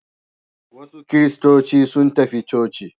Wasu kiristoci sun tafi coci.